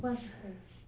Quantos tem?